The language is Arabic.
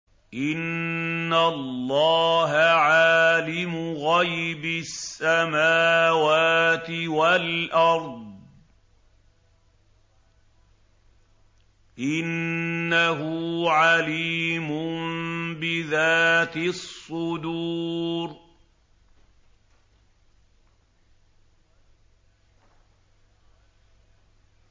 إِنَّ اللَّهَ عَالِمُ غَيْبِ السَّمَاوَاتِ وَالْأَرْضِ ۚ إِنَّهُ عَلِيمٌ بِذَاتِ الصُّدُورِ